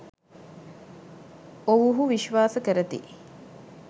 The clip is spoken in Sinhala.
ඔවුහු විශ්වාස කරති.